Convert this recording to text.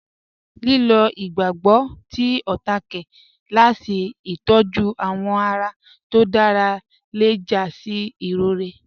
Lílọ̀ igbàgbọ́gbọ̀ tí ọ̀táàké làásì itọ̀jú awọ́ ará tó dára lẹ́ já sí irọ̀rẹ̀.